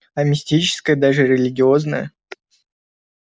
а мистическое даже религиозное